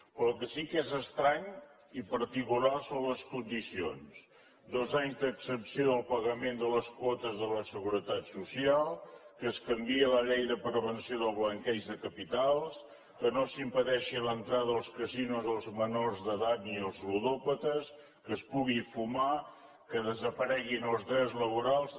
però el que sí que és estrany i particular són les condicions dos anys d’exempció del pagament de les quotes de la seguretat social que es canviï la llei de prevenció del blanqueig de capitals que no s’impedeixi l’entrada als casinos dels menors d’edat ni als ludòpates que es pugui fumar que desapareguin els drets laborals